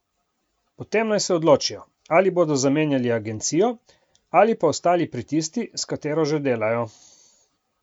Potem naj se odločijo, ali bodo zamenjali agencijo ali pa ostali pri tisti, s katero že delajo.